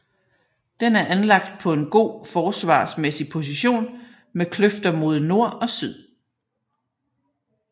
Den er anlagt på en god forsvarsmæssig position med kløfter mod nord og syd